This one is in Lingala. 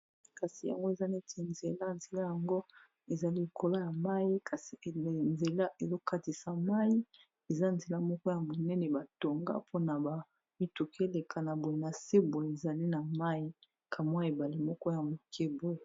Kasi yango eza neti nzela. Nzela yango, eza likolo ya mai. Kasi nzela ezo katisa mai. Eza nzela moko ya monene, ba tonga mpona ba mituki eleka. Na boye, na se boye, ezali na mai; kamwa ebale moko ya moke boye.